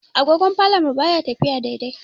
Agogon falon mu baya tafiya daidai.